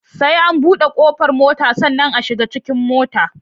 Sai an buɗe ƙofar mota sannan a shiga cikin motar